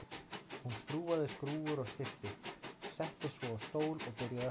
Hún skrúfaði skrúfur og stillti, settist svo á stól og byrjaði að spila.